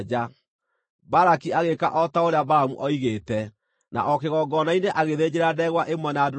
Balaki agĩĩka o ta ũrĩa Balamu oigĩte, na o kĩgongona-inĩ agĩthĩnjĩra ndegwa ĩmwe na ndũrũme ĩmwe.